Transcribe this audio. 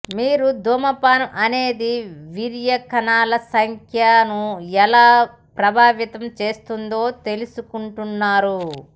మీరు ధూమపానం అనేది వీర్యకణాల సంఖ్యను ఎలా ప్రభావితం చేస్తుందో తెలుసుకున్నారు